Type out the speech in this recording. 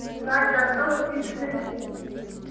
узнать за что списаны деньги